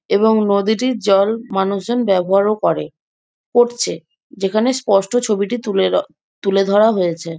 এবং নদীটির জল মানুষজন ব্যাবহারও করে করছে যেখানে স্পষ্ট ছবিটি তুলে রা তুলে ধরা হয়েছে।